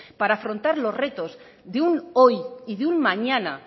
para afrontar los retos de un hoy y de un mañana